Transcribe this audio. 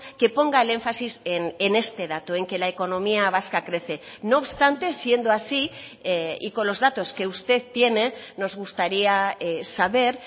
que ponga el énfasis en este dato en que la economía vasca crece no obstante siendo así y con los datos que usted tiene nos gustaría saber